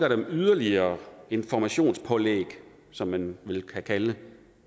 yderligere informationspålæg som man vel kan kalde